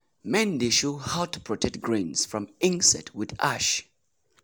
men dey show how to protect grains from insect with ash.